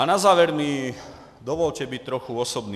A na závěr mi dovolte být trochu osobní.